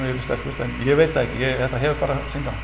sterkust en ég veit það ekki þetta hefur bara